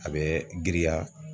A bɛ giriya.